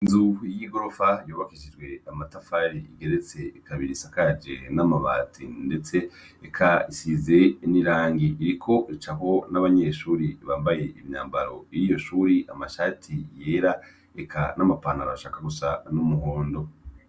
Inzu y'igorofa yubakishijwe amatafari, igeretse kabiri. lsakage n'amabati, ndetse ikaba isize n'irangi. Iriko icaho n'abanyeshuri bambaye imyambaro y'iryo shuri, amashati yera eka n'amapantaro ashaka gusa n'umuhondo.